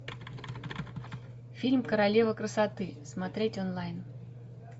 фильм королева красоты смотреть онлайн